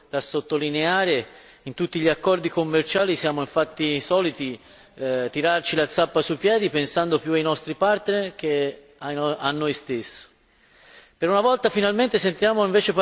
Mi sembra un'assoluta novità, un evento da sottolineare! In tutti gli accordi commerciali siamo infatti soliti tirarci la zappa sui piedi, pensando più ai nostri partner che a noi stessi.